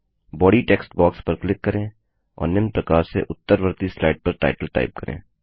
body text box पर click करें और निम्न प्रकार से उत्तरवर्ती स्लाइड का टाइटल टाइप करें